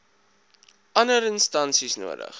ander instansies nodig